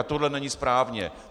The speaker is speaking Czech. A tohle není správně.